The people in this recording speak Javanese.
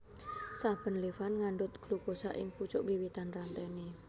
Saben levan ngandhut glukosa ing pucuk wiwitan rantene